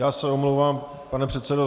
Já se omlouvám, pane předsedo.